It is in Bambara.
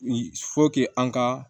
an ka